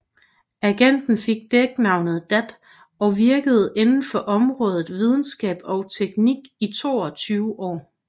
Agenten fik dæknavnet Dat og virkede inden for området videnskab og teknik i over 22 år